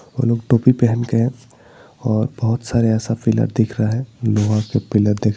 वो लोग टोपी पहन के और बहुत सारे पिलर दिख रहा है लोहा का पिलर --